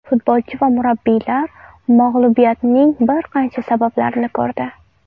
Futbolchi va murabbiylar mag‘lubiyatning bir qancha sabablarini ko‘rdi.